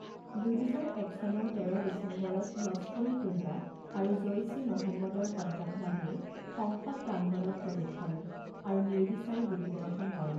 দুহেজাৰ এক চনৰ তেৰ ডিচেম্বৰত লস্কৰ ই তৈবা আৰু জঈছ ই মহম্মদৰ সন্ত্ৰাসবাদীয়ে সংসদ প্ৰাংগণত প্ৰৱেশ কৰে আৰু নিৰ্বিচাৰে গুলীবৰ্ষণ কৰে।